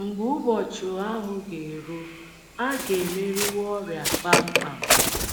Mgbe ụbọchị ahụ ga - eru, a ga - emeriwo ọrịa kpam kpam.